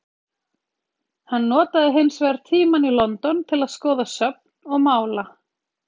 Hann notað hins vegar tímann í London til að skoða söfn og mála.